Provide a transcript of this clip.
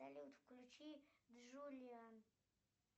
включи джуллиан